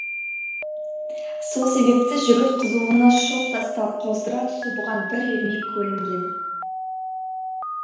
сол себепті жігіт қызуына шоқ тастап қоздыра түсу бұған бір ермек көрінген